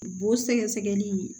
Bo sɛgɛsɛgɛli